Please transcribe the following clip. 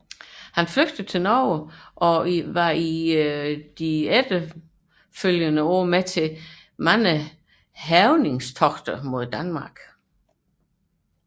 Han flygtede til Norge og var i de følgende år med til hærgningstogter mod Danmark